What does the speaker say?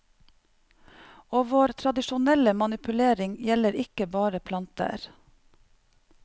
Og vår tradisjonelle manipulering gjelder ikke bare planter.